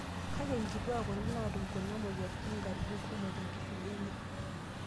Kake, nkituak kuti naatum kuna moyiaritn nkatitin kumok tenkishui enye.